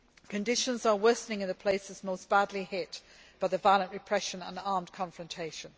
Conditions are worsening in the places most badly hit by the violent repression and armed confrontation.